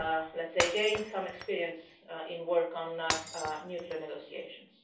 have, let's say, gained some experience in work on nuclear negotiations.